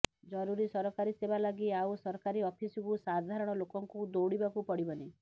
ଜରୁରୀ ସରକାରୀ ସେବା ଲାଗି ଆଉ ସରକାରୀ ଅଫିସକୁ ସାଧାରଣ ଲୋକଙ୍କୁ ଦୈଡିବାକୁ ପଡିବନି